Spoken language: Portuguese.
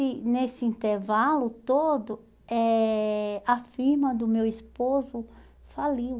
E nesse intervalo todo, eh a firma do meu esposo faliu.